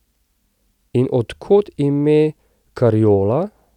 In od kod ime Karjola?